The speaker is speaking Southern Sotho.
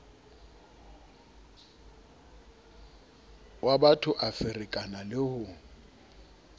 wabatho a ferekana le ho